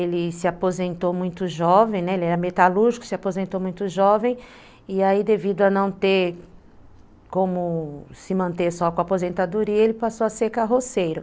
Ele se aposentou muito jovem, né, ele era metalúrgico, se aposentou muito jovem, e aí devido a não ter como se manter só com a aposentadoria, ele passou a ser carroceiro.